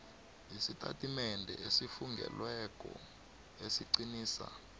isitatimende esifungelweko esiqinisa